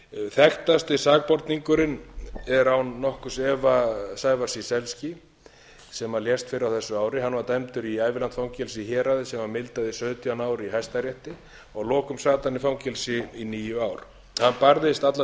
þekktasti sakborningurinn er án nokkurs efa sævar ciesielski sem lést fyrr á þessu ári hann var dæmdur í ævilangt fangelsi í héraði sem var mildað í sautján ár í hæstarétti að lokum sat hann í fangelsi í níu ár hann barðist alla